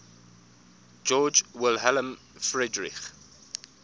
georg wilhelm friedrich